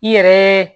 I yɛrɛ